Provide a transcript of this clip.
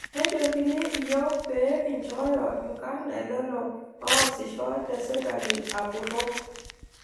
Nejokini iyiok pee kinchooyo inkarrn elelo oosisho te sirkali apurrok